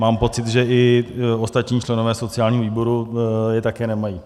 Mám pocit, že i ostatní členové sociálního výboru je také nemají.